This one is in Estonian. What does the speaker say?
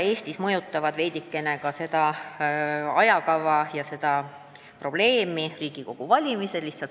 Eestis suurendavad probleemi veidikene ka Riigikogu valimised.